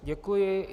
Děkuji.